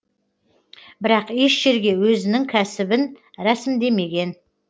бірақ еш жерге өзінің кәсібін рәсімдемеген